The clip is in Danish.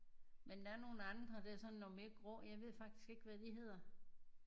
Men der er nogen andre der er sådan noget mere grå jeg ved faktisk ikke hvad de hedder